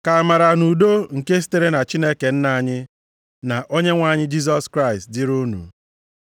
Ka amara na udo nke sitere na Chineke Nna anyị, na Onyenwe anyị Jisọs Kraịst dịrị unu.